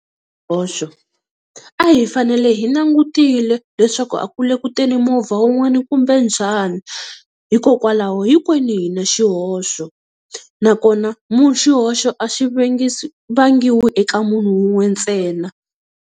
Xihoxo a hi fanele hi langutile leswaku a ku le ku teni movha wun'wani kumbe njhani, hikokwalaho hinkwenu hi na xihoxo nakona xihoxo a vangiwi eka munhu wun'we ntsena.